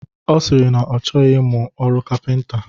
Ọ sịrị na ya achọghị ịmụ ọrụ kapịnta